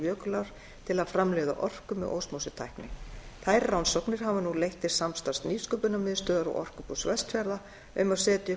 jökulár til að framleiða orku með osmósutækni þær rannsóknir hafa nú leitt til samstarfs nýsköpunarmiðstöðvar og orkubús vestfjarða um að setja